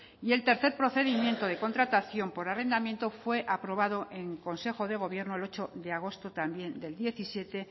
y el tercer procedimiento de contratación por arrendamiento fue aprobado en consejo de gobierno el ocho de agosto también del diecisiete